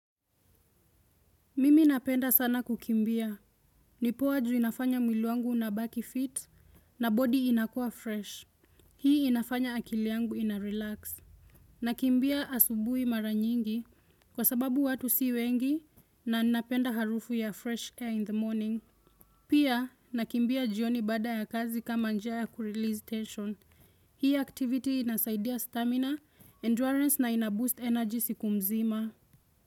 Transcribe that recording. Mimi napenda sana kukimbia. Ni poa ju inafanya mwili wangu unabaki 'fit' na 'body' inakua 'fresh'. Hii inafanya akili yangu 'inarelax'. Nakimbia asubuhi mara nyingi kwa sababu watu si wengi na napenda harufu ya 'fresh air in the morning'. Pia, nakimbia jioni baada ya kazi kama njia ya 'kurelease tension'. Hii 'activity' inasaidia 'stamina', 'endurance' na 'inaboost energy' siku mzima.